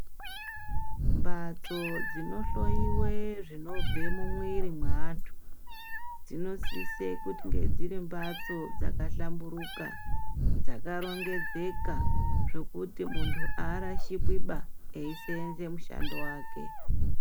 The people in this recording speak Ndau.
Mbadzo dzinohloyiwe zvinobva mumwiri mweantu, dzinosise kuti dzinge dziri mbatso dzakahlamburuka, dzakarongedzeka, zvokuti muntu arashikwiba eyiseenza, mushando wake.